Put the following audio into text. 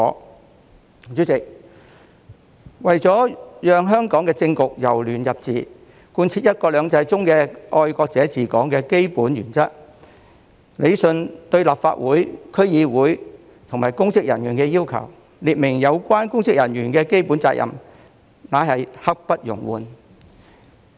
代理主席，為了讓香港的政局由亂入治，貫徹"一國兩制"中"愛國者治港"的基本原則，理順對立法會、區議會及公職人員的要求，列明有關公職人員的基本責任，皆是刻不容緩。